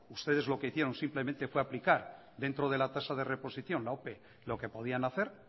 ustedes lo que hicieron fue simplemente aplicar dentro de la tasa de reposición la ope lo que podían hacer